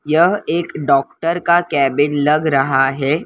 यह एक डॉक्टर का कैबिन लग रहा है।